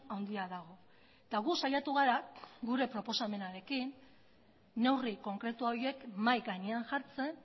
handia dago eta gu saiatu gara gure proposamenarekin neurri konkretu horiek mahai gainean jartzen